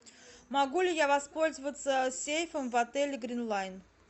могу ли я воспользоваться сейфом в отеле грин лайн